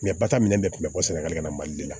bataminɛ bɛɛ tun bɛ bɔ sɛnɛgali ka na mali de la